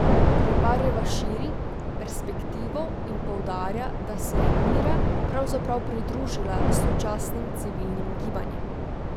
Reparjeva širi perspektivo in poudarja, da se je Mira pravzaprav pridružila sočasnim civilnim gibanjem.